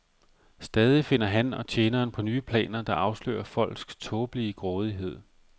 Stadig finder han og tjeneren på nye planer, der afslører folks tåbelige grådighed.